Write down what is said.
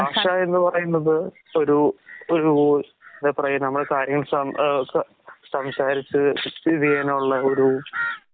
ബാഷാ എന്ന്പറയുന്നത് ഒരു ഒരൂ സംസാരിച്ച് പിരിയാനുള്ള ഒരൂ